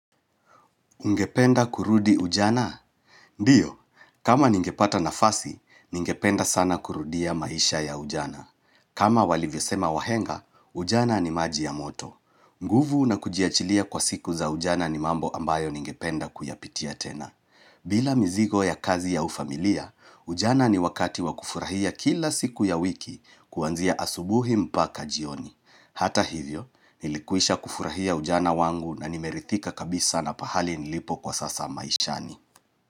Ngependa kurudi ujana? Ndio, kama ningepata nafasi, ningependa sana kurudia maisha ya ujana. Kama walivyo sema wahenga, ujana ni maji ya moto. Nguvu na kujiachilia kwa siku za ujana ni mambo ambayo ningependa kuyapitia tena. Bila mizigo ya kazi ya ufamilia, ujana ni wakati wa kufurahia kila siku ya wiki kuanzia asubuhi mpaka jioni. Hata hivyo, nilikwisha kufurahia ujana wangu na nimerithika kabisa na pahali nilipo kwa sasa maishani.